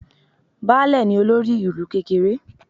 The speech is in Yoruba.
Baálẹ̀ ni olórí ìlú kékeré